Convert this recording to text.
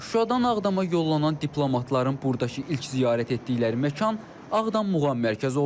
Şuşadan Ağdama yollanan diplomatların buradakı ilk ziyarət etdikləri məkan Ağdam Muğam Mərkəzi oldu.